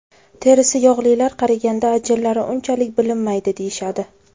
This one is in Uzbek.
Terisi yog‘lilar qariganda ajinlari unchalik bilinmaydi deyishadi.